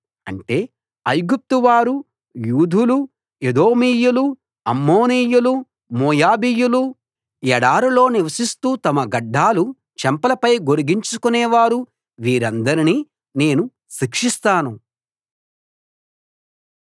అంటే ఐగుప్తు వారు యూదులు ఎదోమీయులు అమ్మోనీయులు మోయాబీయులు ఎడారిలో నివసిస్తూ తమ గడ్డాలు చెంపలపై గొరిగించుకునేవారు వీరందరినీ నేను శిక్షిస్తాను